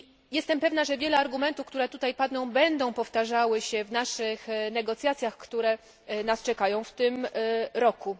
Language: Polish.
Jestem pewna, że wiele argumentów, które tutaj padną, będą powtarzały się w naszych negocjacjach, które nas czekają w tym roku.